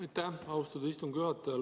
Aitäh, austatud istungi juhataja!